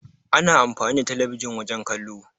Ana amfani da telebijin wajen kallo.